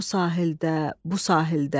O sahildə, bu sahildə.